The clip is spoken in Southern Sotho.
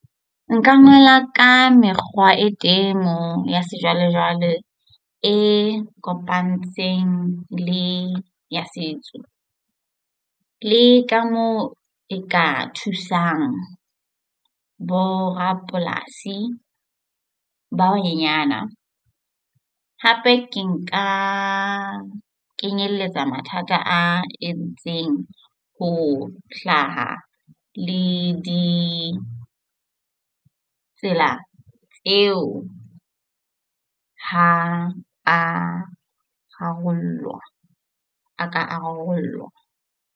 Nka ngola ka mekgwa e temo ya sejwalejwale e kopantsweng le ya setso, le ka moo e ka thusang borapolasi ba banyenyana. Hape ke nka kenyeletsa mathata a entseng ho hlaha le di tsela tseo ha a ka a rarollwa.